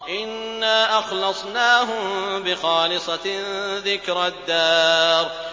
إِنَّا أَخْلَصْنَاهُم بِخَالِصَةٍ ذِكْرَى الدَّارِ